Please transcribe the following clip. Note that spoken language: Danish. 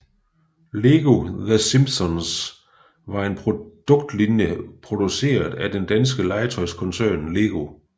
Lego The Simpsons var en produktlinje produceret af den danske legetøjskoncern LEGO